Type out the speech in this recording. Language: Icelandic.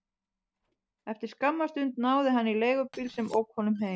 Eftir skamma stund náði hann í leigubíl sem ók honum heim.